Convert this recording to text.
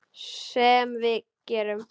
Sem við gerum.